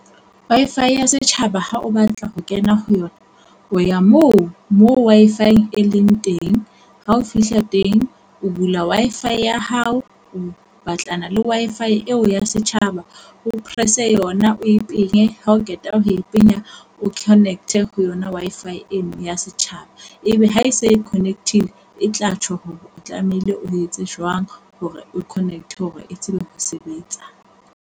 Wi-Fi ya Setjhaba ha o batla ho kena ho yona o ya moo mo Wi-Fi e leng teng, ha o fihla teng o bula Wi-Fi ya hao. O batlana le Wi-Fi eo ya setjhaba. O pressa yona o e penye ha o qeta ho e penya o connect ho yona Wi-Fi eno ya setjhaba. Ebe ha e se e connect-ile e tla tjho hore o tlamehile o etse jwang hore o connect hore e tsebe ho sebetsa.